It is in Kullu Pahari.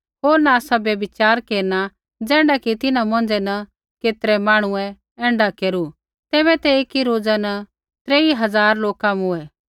होर न आसा व्यभिचार केरना ज़ैण्ढा कि तिन्हां मौंझ़ै न केतरै मांहणुऐ ऐण्ढा केरू तैबै ते ऐकी रोज़ा न त्रेई हज़ार लोका मूँऐ